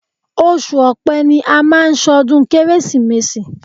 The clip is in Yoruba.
Oṣù Ọ̀pẹ ni a máà ń ṣọdún Kérésìmesì.